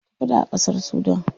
Ana ta faɗa a ƙasar Sudan.